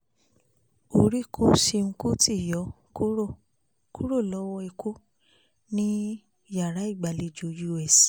orí kó ṣeun kùtì yọ kúrò kúrò lọ́wọ́ ikú ní yàrá ìgbàlejò us